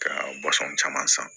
Ka caman san